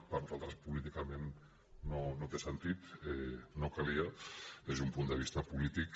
per nosaltres políticament no té sentit no calia des d’un punt de vista polític